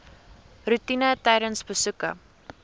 roetine tydens besoeke